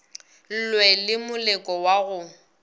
lwe le moleko wa go